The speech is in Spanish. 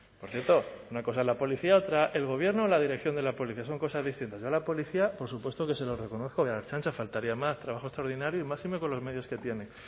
por cierto una cosa es la policía otra el gobierno o la dirección de la policía son cosas distintas yo a la policía por supuesto que se lo reconozco y a la ertzaintza faltaría más trabajo extraordinario y máxime con los medios que tienen